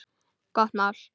Gott mál.